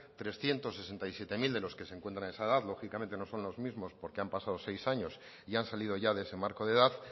trescientos sesenta y siete mil de los que se encuentran en esa edad lógicamente no son los mismos porque han pasado seis años y han salido ya de ese marco de edad